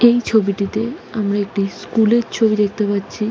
এই ছবিতে আমরা একটি স্কুল -এর ছবি দেখতে পারছি ।